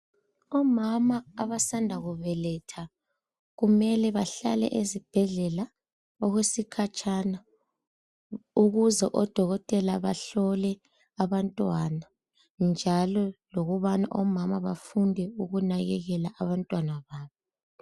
Omama abasanda kubeletha kumele bahlale ezibhedlela okwesikhatshana ukuze odokotela bahlole abantwana njalo lokubana omama bafunde ukunakakelwa abantwana babo